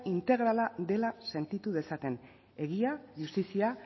integrala dela sentitu dezaten egia justizia